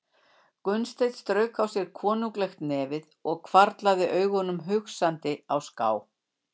Gunnsteinn strauk á sér konunglegt nefið og hvarflaði augunum hugsandi á ská.